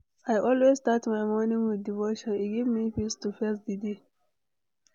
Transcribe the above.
I always start my morning with devotion, e give me peace to face di day.